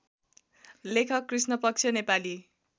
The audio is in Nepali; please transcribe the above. लेखक कृष्णपक्ष नेपाली